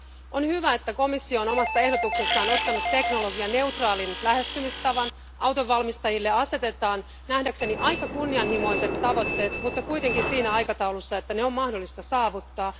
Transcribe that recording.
On hyvä, että komissio on omassa ehdotuksessaan ottanut teknologianeutraalin lähestymistavan. Autonvalmistajille asetetaan nähdäkseni aika kunnianhimoiset tavoitteet mutta kuitenkin siinä aikataulussa, että ne on mahdollista saavuttaa.